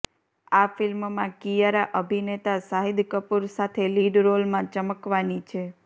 આ ફિલ્મમાં કિયારા અભિનેતા શાહિદ કપૂર સાથે લીડ રોલમાં ચમકવાની છે